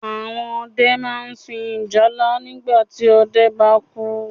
Àwọn ọdẹ máa n sun ìjálá nígbàti ọdẹ bá kú